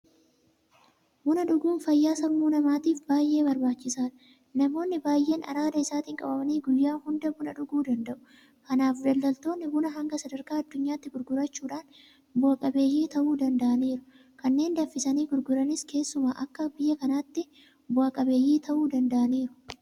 Buna dhuguun fayyaa sammuu namaatiif baay'ee barbaachisaadha. Namoonni baay'een araada isaatiin qabamanii guyyaa hunda buna dhuguu danda'u. Kanaaf daldaltoonni bunaa hanga sadarkaa addunyaatti gurgurachuudhaan bu'a qabeeyyii ta'uu danda'aniiru. Kanneen danfisanii gurguranis keessumaa akka biyya kanaattu bu'aa qabeeyyii ta'uu danda'aniiru.